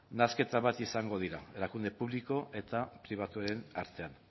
nahasketa bat izango dira erakunde publiko eta pribatuen artean